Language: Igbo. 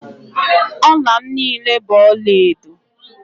Ọla m niile bụ ọlaedo